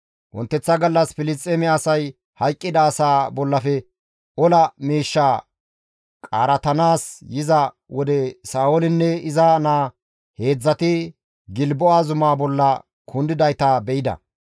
Wonteththa gallas Filisxeeme asay hayqqida asaa bollafe ola miishshaa qaaratanaas yiza wode Sa7oolinne iza naa heedzdzati Gilbo7a zumaa bolla kundidayta be7ida.